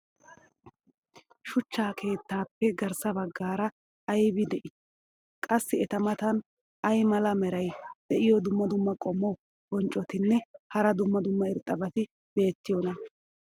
shuchcha keettaappe garssa bagaara aybay de'ii? qassi eta matan ay mala meray diyo dumma dumma qommo bonccotinne hara dumma dumma irxxabati beettiyoonaa?